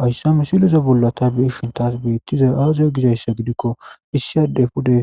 Haysa misilexa bolla ta beyishin tas betizay aze gizaysa gidiko issi adey pude